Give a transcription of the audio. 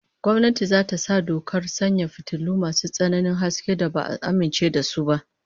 Gwamnati za ta sa dokar sanya fitilu masu tsananin haske da ba'a amince da su ba